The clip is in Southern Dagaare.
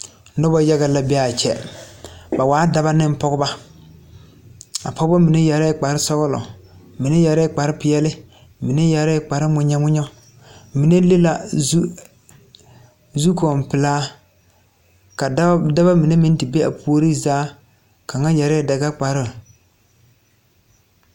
Noba yaga la be a kyɛ ba waa daba ne a pɔgeba mine yɛre la kparresɔglɔ mine yɛre la kparre peɛle mine yɛre la kparreŋmenyɛ mine le zukɔɔpelaa ka dao dabamine meŋ te be a puori zaa kaŋa yɛre la dagakparoo.